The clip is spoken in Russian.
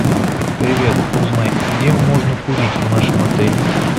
привет узнай где можно курить в нашем отеле